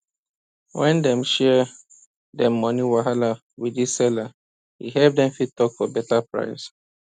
when dem share dem money wahala with di seller e help dem fit talk for beta price